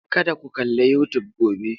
Kada ku kalli YouTube gobe!